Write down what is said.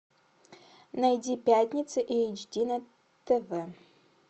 найди пятница эйч ди на тв